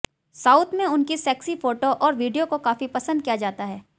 south में उनकी sexy photo और वीडियो को काफी पसंद किया जाता है